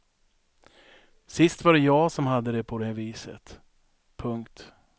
Sist var det jag som hade det på det viset. punkt